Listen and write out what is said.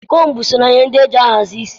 Kombu so na ihe ndị e ji ahazi ishi